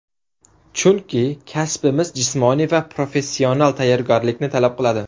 Chunki kasbimiz jismoniy va professional tayyorgarlikni talab qiladi.